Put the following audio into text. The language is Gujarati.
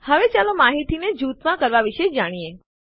હવે ચાલો આપણે માહિતીને જૂથમાં કરવાં વિશે જાણીએ